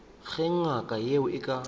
ge ngaka yeo e ka